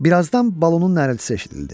Birazdan balonun nəriltsi eşidildi.